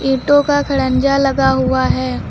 ईंटों का खड़ंजा लगा हुआ है।